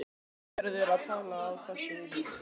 En einhver verður að tala á þessu heimili.